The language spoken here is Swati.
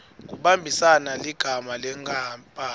kumbambisa ligama lenkapani